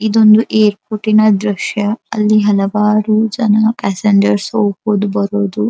ಇದೊಂದು ಏರ್ಪೋರ್ಟಿನ ದೃಶ್ಯ ಅಲ್ಲಿ ಹಲವಾರು ಜನ ಪ್ಯಾಸೆಂಜರ್ ಹೋಗಬಹುದು ಬರೋದು --